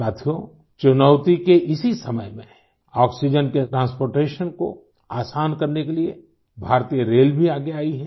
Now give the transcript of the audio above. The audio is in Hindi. साथियो चुनौती के इसी समय में आक्सीजेन के ट्रांसपोर्टेशन को आसान करने के लिए भारतीय रेल भी आगे आई है